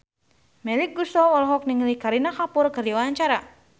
Melly Goeslaw olohok ningali Kareena Kapoor keur diwawancara